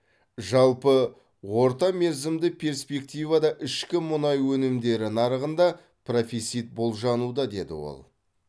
жалпы орта мерзімді перспективада ішкі мұнай өнімдері нарығында профицит болжануда деді ол